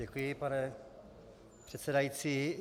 Děkuji, pane předsedající.